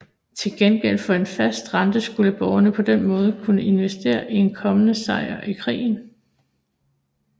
Til gengæld for en fast rente skulle borgerne på den måde kunne investere i en kommende sejr i krigen